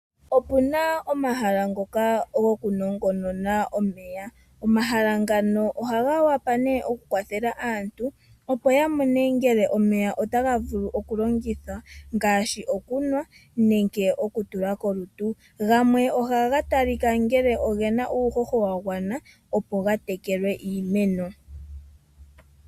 Opu na omahala ngoka gokunongonona omeya. Omahala ngano ohaga wapa ne okukwathela aantu, opo ya mone ngele omeya otaga vulu okulongithwa ngaashi okunuwa nenge okutulwa kolutu. Gamwe ohaga talika ngele oge na uuhoho wa gwana opo ga tekele iimeno.